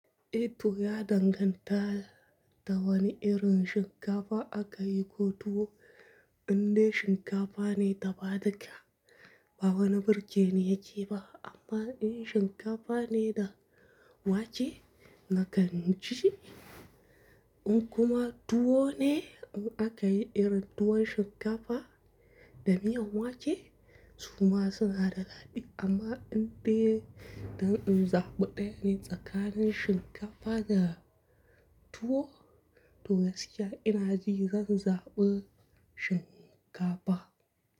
Eh to ya danganta da wane irin shinkafa aka yi ko tuwo, indai shinkafa ne dafa ɗika, ba wani birgeni yake ba amma in shinkafa ne da wake nakan ci shi. In kuma tuwo ne in aka yi irin tuwon shinkafa da miyan wake, su ma suna da daɗi amma indai don in zaɓi ɗaya ne tsakanin shinkafa da tuwo, to gaskiya ina ji zan zaɓi shinkafa.